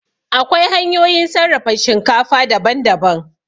Akwai hanyoyin sarrafa shinkafa daban daban